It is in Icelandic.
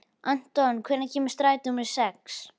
Anton, hvenær kemur strætó númer sex?